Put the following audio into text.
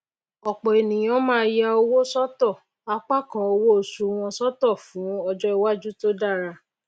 òpò ènìyàn máá ya owó sótò apá kan owó osù wọn sótò fún ọjó iwájú tó dára